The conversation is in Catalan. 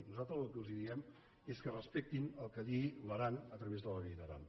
nosaltres el que els diem és que respectin el que digui l’aran a través de la llei d’aran